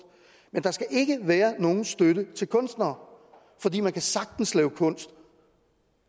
men der skal ikke være nogen støtte til kunstnere fordi man sagtens kan lave kunst